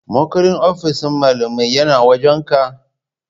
Makullin ofishin malamai yana wajan ka?